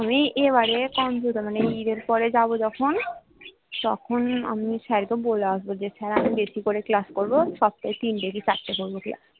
আমি এবারে computer মানে ঈদ এর পরে যাবো যখন তখন আমি sir কে বলে আসবো যে sir আমি বেশি করে class করবো সপ্তাহে তিনটে কি চারটে করবো class